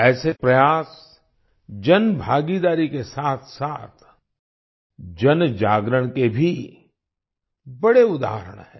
ऐसे प्रयास जनभागीदारी के साथसाथ जनजागरण के भी बड़े उदाहरण हैं